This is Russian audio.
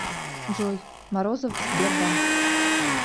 джой морозов сбербанк